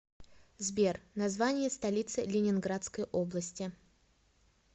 сбер название столицы ленинградской области